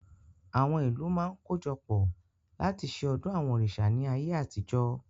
Àwọn ìlú máa ń kojọpọ̀ láti ṣe ọdún àwọn òrìṣà ni ayé àtijọ́